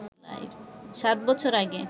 সাত বছর আগে